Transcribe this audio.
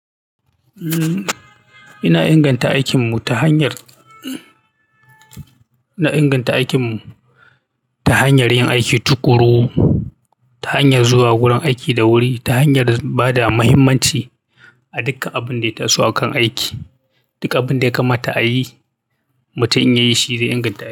Umm, ina inganta aikinmu ta hanyar, na inganta aikinmu ta hanyar yin aiki tuƙuru, ta hanyar zuwa gurin aiki da wuri, ta hanyar bada muhimmanci a duka abin da ya taso a kan aiki. Duk abin da ya kamata a yi, mutum in ya yi shi zai inganta.